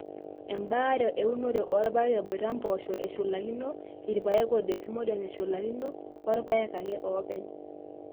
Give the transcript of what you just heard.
ebaare eunore oorpaek eboita ompoosho eshulakino, irpaek o desmodium eshulakino, orpaek ake oopeny.